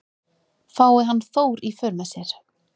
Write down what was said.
Fái hann Þór í för með sér